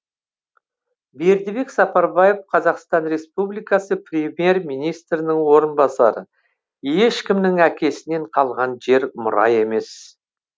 бердібек сапарбаев қазақстан республикасы премьер министрінің орынбасары ешкімнің әкесінен қалған жер мұра емес